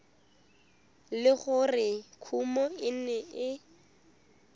le gore kumo e ne